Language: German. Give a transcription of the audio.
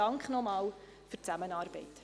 Dank nochmals für die Zusammenarbeit.